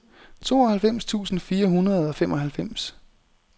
tooghalvfems tusind fire hundrede og femoghalvfems